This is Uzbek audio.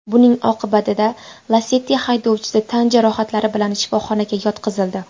Buning oqibatida Lacetti haydovchisi tan jarohatlari bilan shifoxonaga yotqizildi.